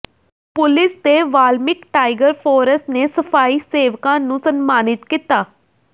police ਤੇ Valmik tiger force ਨੇ ਸਫ਼ਾਈ ਸੇਵਕਾਂ ਨੂੰ ਸਨਮਾਨਿਤ ਕੀਤਾ